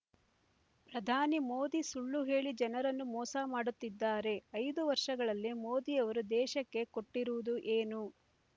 ಪ್ರಧಾನಿ ಮೋದಿ ಸುಳ್ಳು ಹೇಳಿ ಜನರನ್ನು ಮೋಸ ಮಾಡುತ್ತಿದ್ದಾರೆ ಐದು ವರ್ಷಗಳಲ್ಲಿ ಮೋದಿಯವರು ದೇಶಕ್ಕೆ ಕೊಟ್ಟಿರುವುದು ಏನು